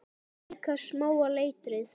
Líka smáa letrið.